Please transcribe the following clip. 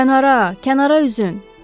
Kənara, kənara üzün!